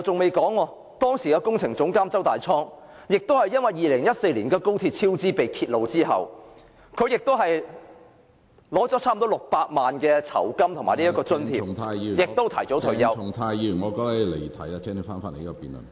其後，前工程總監周大滄也是因為2014年高鐵超支被揭發後，收取了差不多600萬元酬金和津貼便提早退休......